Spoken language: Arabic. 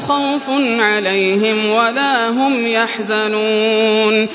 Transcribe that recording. خَوْفٌ عَلَيْهِمْ وَلَا هُمْ يَحْزَنُونَ